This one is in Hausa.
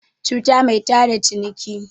cuta mai tada ciniki